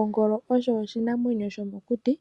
Ongolo osho oshinamwenyo shomokuti